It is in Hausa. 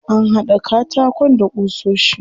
An haɗa katakon da ƙusoshi.